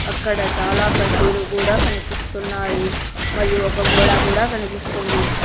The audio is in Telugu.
అక్కడ చాలా కడ్డీలు కూడా కనిపిస్తున్నాయి మరియు ఒక గోడ కూడా కనిపిస్తుంది.